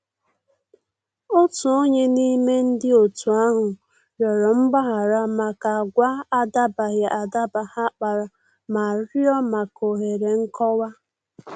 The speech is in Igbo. Otu onye n'ime ndị otu ahụ rịọrọ mgbaghara maka agwa adabaghị adaba ha kpara ma rịọ maka òhèrè nkọwa.